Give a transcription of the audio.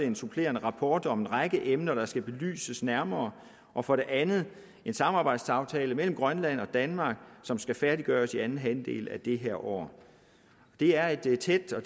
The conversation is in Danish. en supplerende rapport om en række emner der skal belyses nærmere og for det andet en samarbejdsaftale mellem grønland og danmark som skal færdiggøres i anden halvdel af det her år det er et tæt og